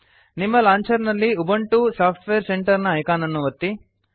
ನಿಮ್ಮ ಲಾಂಚರ್ ನಲ್ಲಿ Ubuntu software centre ನ ಐಕಾನ್ ಅನ್ನು ಒತ್ತಿ